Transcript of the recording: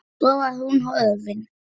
Svo var hún horfin.